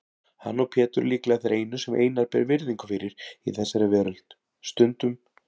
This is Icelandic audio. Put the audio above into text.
Hann og Pétur líklega þeir einu sem Einar ber virðingu fyrir í þessari veröld, stundum